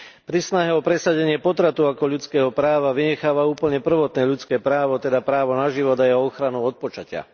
Pri snahe o presadenie potratu ako ľudského práva vynecháva úplne prvotné ľudské právo, teda právo na život a jeho ochranu od počatia.